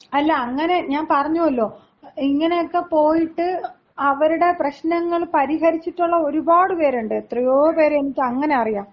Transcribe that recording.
അല്ല അങ്ങനെ ഞാൻ പറഞ്ഞുവല്ലോ, ഇങ്ങനെയൊക്കെ പോയിട്ട് അവരുടെ പ്രശ്നങ്ങള് പരിഹരിച്ചിട്ടുള്ള ഒരുപാട് പേരുണ്ട്. എത്രയോ പേരെ എനിക്കങ്ങനെ അറിയാം.